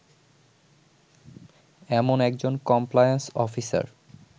এমন একজন compliance officer